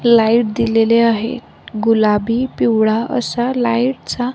light दिलेले आहेत गुलाबी पिवळा असा लाईटचा --